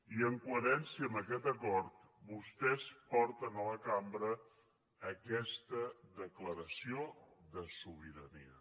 i en coherència amb aquest acord vostès porten a la cambra aquesta declaració de sobirania